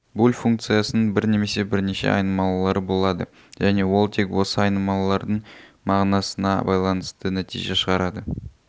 буль функциясының бір немесе бірнеше айнымалылары болады және ол тек осы айнымалылардың мағынасына байланысты нәтиже шығарады